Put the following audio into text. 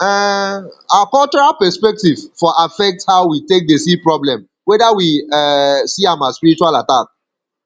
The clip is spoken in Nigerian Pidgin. um our cultural perspective for affect how we take dey see problem weda we um see am as spiritual attack